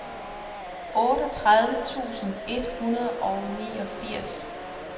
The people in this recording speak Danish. otteogtredive tusind et hundrede og niogfirs